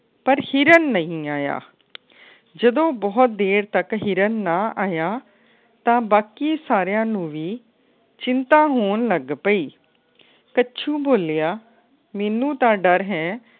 ਪਰ ਹਿਰਨ ਨਹੀਂ ਆਇਆ ਜਦੋ ਬੋਹਤ ਦੇਰ ਤੱਕ ਹਿਰਨ ਨਾ ਆਇਆ ਤਾ ਬਾਕੀ ਸਾਰਿਆਂ ਨੂੰ ਵੀ ਚਿੰਤਾ ਹੋਣ ਲੱਗ ਪਈ ਕੱਛੂ ਬੋਲਿਆ। ਮੈਨੂੰ ਤਾ ਡਰ ਹੈ।